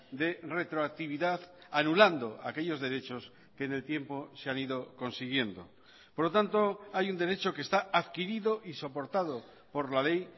de retroactividad anulando aquellos derechos que en el tiempo se han ido consiguiendo por lo tanto hay un derecho que está adquirido y soportado por la ley